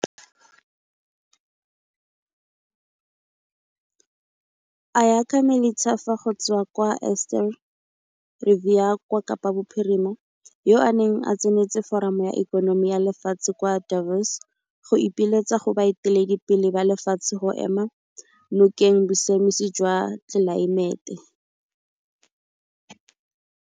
Ayakha Melithafa go tswa kwa Eerste Rivier kwa Kapa Bophirima, yoo a neng a tsenetse Foramo ya Ikonomi ya Lefatshe kwa Davos go ipiletsa go baeteledipele ba lefatshe go ema nokeng bosiamisi jwa tlelaemete.